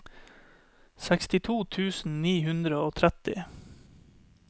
sekstito tusen ni hundre og tretti